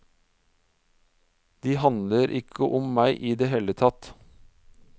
De handler ikke om meg i det hele tatt.